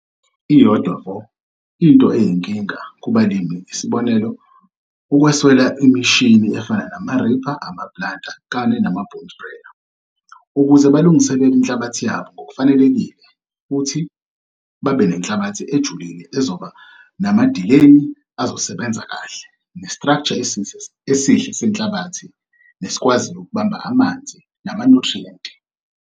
Iyodwa vo into eyinkinga kubalimi isibonelo ukweswela imishini efana namaripha, amaplanta kanye nama-boom sprayer ukuze balungiselele inhlabathi yabo ngokufanelekile futhi babe nenhlabathi ejulile ezoba namadileni azosebenza kahle, nestraksha esihle senhlabathi nesikwaziyo ukubamba amanzi namanyuthriyenti.